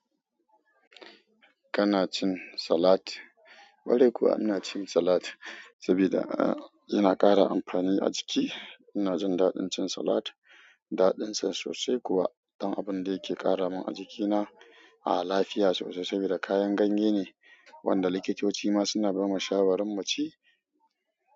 Kana cin salat? Kwarai kuwa ina cin salat saboda yana ƙara amfani a jiki. Ina jin daɗin cin salat, daɗin sa sosai kuwa don abun da yake ƙara min a jikina. Ah lafiya sosai saboda kayan ganye ne wanda likitoci ma suna bamu shawarin mu ci.